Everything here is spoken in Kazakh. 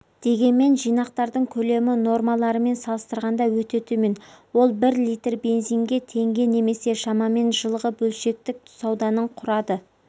дегенмен жинақтардың көлемі нормаларымен салыстырғанда өте төмен ол бір литр бензинге теңге немесе шамамен жылғы бөлшектік сауданың құрады